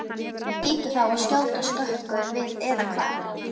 Það hlýtur þá að skjóta skökku við eða hvað?